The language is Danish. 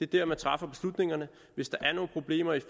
der man træffer beslutningerne hvis der er nogen problemer i